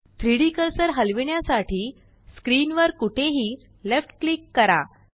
3डी कर्सर हलविण्यासाठी स्क्रीन वर कुठेही लेफ्ट क्लिक करा